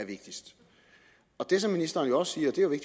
vigtigste det som ministeren også siger